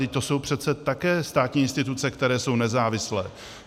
Vždyť to jsou přece také státní instituce, které jsou nezávislé.